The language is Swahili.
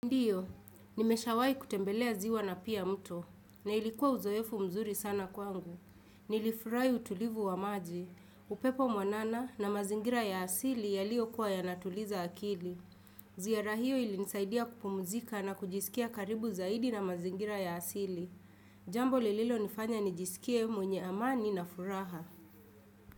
Ndio, nimeshawahi kutembelea ziwa na pia mto, na ilikuwa uzoefu mzuri sana kwangu. Nilifurahi utulivu wa maji, upepo mwanana na mazingira ya asili yaliyokuwa yanatuliza akili. Ziara hio ilinisaidia kupumuzika na kujisikia karibu zaidi na mazingira ya asili. Jambo lililo nifanya nijisikie mwenye amani na furaha.